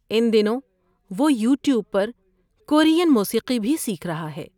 ان دنوں وہ یوٹیوب پر کورین موسیقی بھی سیکھ رہا ہے۔